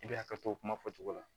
I bɛ hakɛ to kuma fɔcogo la